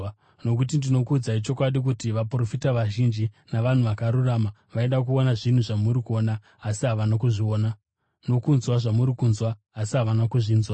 Nokuti, ndinokuudzai chokwadi kuti vaprofita vazhinji navanhu vakarurama vaida kuona zvinhu zvamuri kuona asi havana kuzviona, nokunzwa zvamuri kunzwa asi havana kuzvinzwa.